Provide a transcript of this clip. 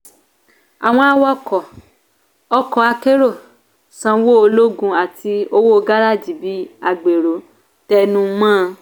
àwọn awakọ̀ ọkọ akérò sanwó ológun àti owó gáràjì bí agbèrò tẹnumọ́.